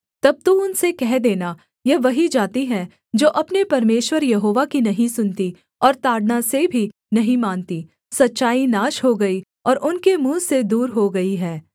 तब तू उनसे कह देना यह वही जाति है जो अपने परमेश्वर यहोवा की नहीं सुनती और ताड़ना से भी नहीं मानती सच्चाई नाश हो गई और उनके मुँह से दूर हो गई है